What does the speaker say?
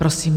Prosím.